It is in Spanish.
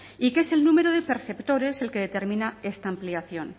y que es el número de perceptores el que determina esta ampliación